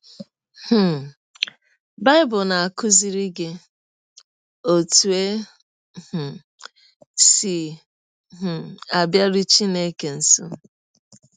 um Bible na - akụziri gị ọtụ e um si um abịarụ Chineke nsọ